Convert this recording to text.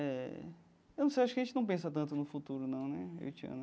Eh eu não sei acho que a gente não pensa tanto no futuro, não né, eu e Tiana.